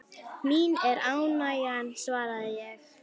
Mín er ánægjan svaraði ég.